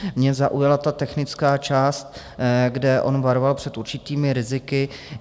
Mne zaujala ta technická část, kde on varoval před určitými riziky.